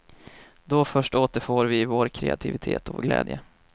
Då först återfår vi vår kreativitet och vår glädje.